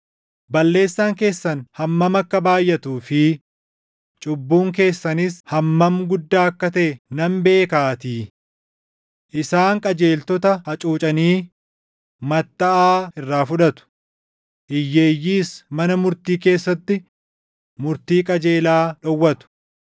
Balleessaan keessan hammam akka baayʼatuu fi cubbuun keessanis hammam guddaa akka taʼe nan beekaatii. Isaan qajeeltota hacuucanii mattaʼaa irraa fudhatu; hiyyeeyyiis mana murtii keessatti murtii qajeelaa dhowwatu.